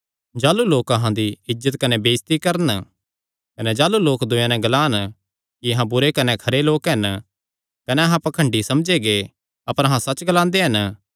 जाह़लू लोक अहां दी इज्जत कने बेइज्जती करन कने जाह़लू लोक दूयेयां नैं ग्लान कि अहां बुरे कने खरे लोक हन कने अहां पाखंडी समझे गै अपर अहां सच्च ग्लांदे हन